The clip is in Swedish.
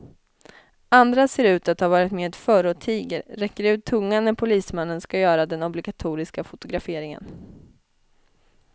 Andra ser ut att ha varit med förr och tiger, räcker ut tungan när polismannen ska göra den obligatoriska fotograferingen.